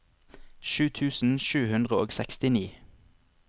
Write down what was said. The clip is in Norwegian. sju tusen sju hundre og sekstini